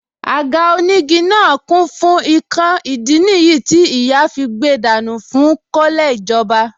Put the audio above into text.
Àga onígi náà kún fún ikán ìdí nìyí tí ìyá fí gbe dànù fún kọ́lẹ̀ ìjọba